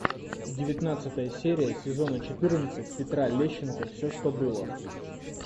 девятнадцатая серия сезона четырнадцать петра лещенко все что было